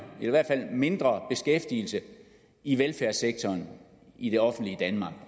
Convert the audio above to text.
i hvert fald mindre beskæftigelse i velfærdssektoren i det offentlige danmark